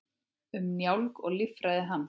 Um njálginn og líffræði hans.